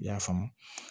I y'a faamu